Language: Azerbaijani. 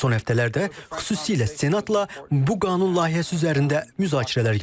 Son həftələrdə xüsusilə Senatla bu qanun layihəsi üzərində müzakirələr gedir.